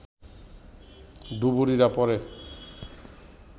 ডুবুরিরা পরে